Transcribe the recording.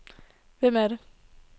Hvem er det